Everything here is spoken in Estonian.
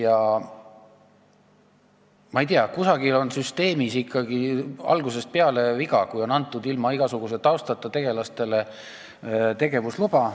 No ma ei tea, kusagil süsteemis on ikkagi algusest peale viga, kui ilma igasuguse taustata tegelastele on antud tegevuslube.